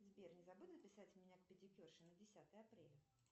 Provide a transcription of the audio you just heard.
сбер не забудь записать меня к педикюрше на десятое апреля